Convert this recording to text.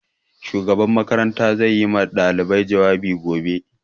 Shugaban makaranta zai yi wa ɗalibai jawabi gobe